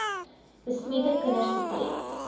besmette kinders betref